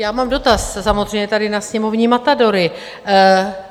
Já mám dotaz samozřejmě tady na sněmovní matadory.